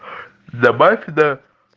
добавь да